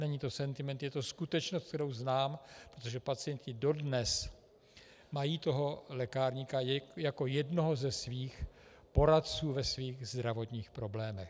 Není to sentiment, je to skutečnost, kterou znám, protože pacienti dodnes mají toho lékárníka jako jednoho ze svých poradců ve svých zdravotních problémech.